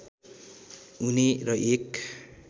हुने र एक